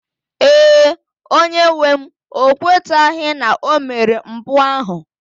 Ee, onye-nwem o kwetaghị na o mere mpụ ahụ.